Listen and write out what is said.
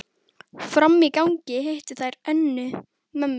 Frammi í gangi hittu þær Önnu, mömmu